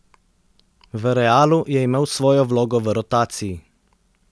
V Realu je imel svojo vlogo v rotaciji.